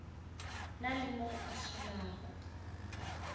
na le mo a solago